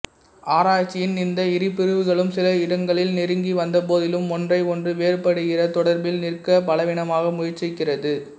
ஆராய்ச்சியின் இந்த இரு பிரிவுகளும் சில இடங்களில் நெருங்கி வந்தபோதிலும் ஒன்றை ஒன்று வேறுபடுகிற தொடர்பில் நிற்க பலவீனமாக முயற்சிக்கிறது